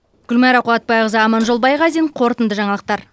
гүлмайра қуатбайқызы аманжол байғазин қорытынды жаңалықтар